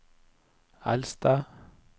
eldste